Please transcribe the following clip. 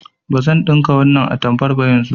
Bazan ɗinka wannan atamfar yanzu ba.